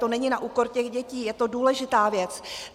To není na úkor těch dětí, je to důležitá věc.